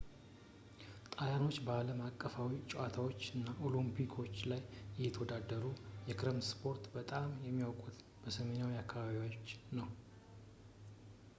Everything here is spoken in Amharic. ጣልያኖች በአለም አቀፋዊ ጨዋታዎች እና የኦሎምፒኮች ላይ እየተወዳደሩ ፣ የክረምት ስፖርቶች በጣም የሚታወቁት በሰሜናዊ አካባቢዎች ነው